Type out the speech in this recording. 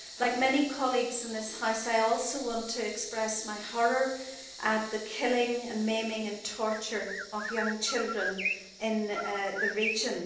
Like many colleagues in this House, I also want to express my horror at the killing, maiming and torture of young children in the region.